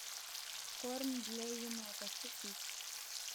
корм для енота купить